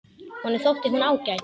Honum þótti hún ágæt.